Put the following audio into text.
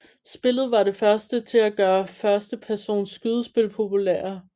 Spillet var det første til at gøre førstepersons skydespil populære